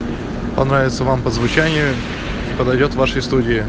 понравится вам по звучанию подойдёт вашей студии